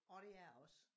Og det er det også